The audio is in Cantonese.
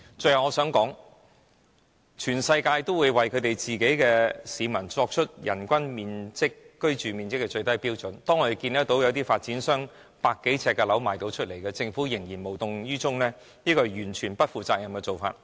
最後，我想指出，全世界國家都會為其人民訂立人均居住面積的最低標準，但我們看見一些發展商出售只有百多呎的單位，政府依然無動於衷，這是完全不負責任的做法。